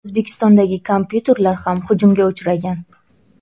O‘zbekistondagi kompyuterlar ham hujumga uchragan.